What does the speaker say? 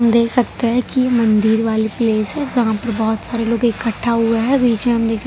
देख सकते हैं कि ये मंदिर वाली प्लेस है जहां पे बहोत सारे लोग इकट्ठा हुआ है बीच में हम दे--